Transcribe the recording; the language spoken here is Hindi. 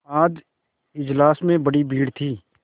आज इजलास में बड़ी भीड़ थी